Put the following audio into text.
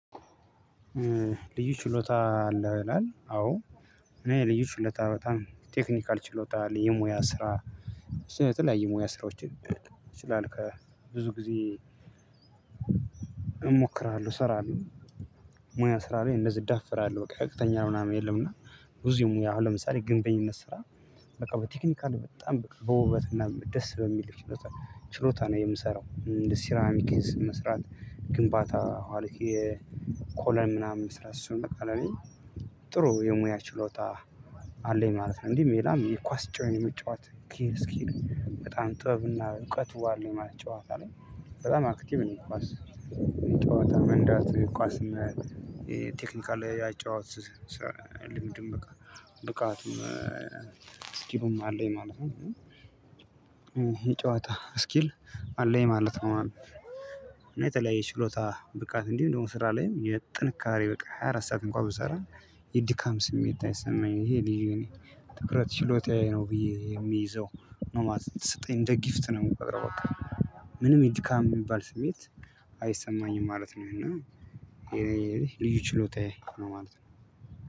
ልዩ ችሎታ አለ ይላል አዎ እኔ ልዩ ችሎታ በጣም ቴክኒካል ችሎታ የሙያ ስራ ብዙ የተለያዬ የሙያ ስራዎችን ከብዙ ጊዜ እሞክራለሁ እሰራለው። ሙያ ስራ ላይ እንደዚህ እዳፍራለሁ በቃ ከፍተኛ ምናምን የለም። እና ብዙም ሙያ አሁን ለምሳሌ ግንተኝነት ስራ በቃ በቴክኒካል በጣም በውበት እና በደስ በሚል ችሎታ ነው የምሰራው። ሴራሚክ መስራት ግንባታ አድርጌ የኮለም ምናምን ስራ እሱን በቃ ለኔ ጥሩ የሙያ ችሎታ አለኝ ማለት ነው። እንዲህ ሌላም የኳስ ጮህን የሚጫወት ኬር እስኪ በጣም ጥበብና እውቀት ውሃ ነው የማለት ጨዋታ ላይ በጣም አክቲቭ ነው። የኳስ ጨዋታ መንዳት ቋስ እና ቴክኒካል የአጨዋወት ልምድም ብቃቱም ስኪሉም አለኝ ማለት ነው። የጨዋታ ስኪል አለኝ ማለት ነው። እና የተለያየ ችሎታ ብቃት እንዲህ እንደውም ስራ ላይም ጥንካሬ በቃ ሃያ አራት ሰዓት እንኳን ብሰራ የድካም ስሜት አይሰማኝም። ይሄ ልጅ እኔ ትኩረት ችሎታዬ ነው ብዬ የሚይዘው ነው ማለት ስትይ እንደ ጊፍት ነው የምትቀረው በቃ። ምንም የድካም የሚባል ስሜት ማለት ነው። እና ይሄ ልዩ ችሎታዬ ነው ማለት ነው።